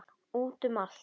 Út um allt.